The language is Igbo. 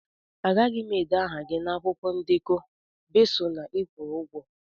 Agaghị m ede aha gị na akwụkwọ ndekọ besọ na ị kwụrụ ụgwọ